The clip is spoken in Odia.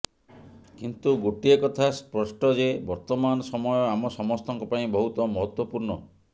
କିନ୍ତୁ ଗୋଟିଏ କଥା ସ୍ପଷ୍ଟ ଯେ ବର୍ତ୍ତମାନ ସମୟ ଆମ ସମସ୍ତଙ୍କ ପାଇଁ ବହୁତ ମହତ୍ତ୍ୱପୂର୍ଣ୍ଣ